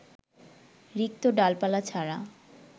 রিক্ত ডালপালা ছাড়া